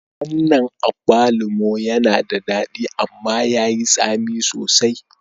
Wannan agbalumo yana da daɗi amma yayi tsami sosai